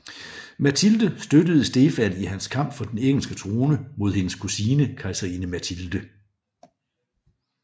Matilde støttede Stefan i hans kamp for den engelske trone mod hendes kusine kejserinde Matilde